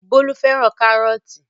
Bólú fẹ́ràn kárọ́tì.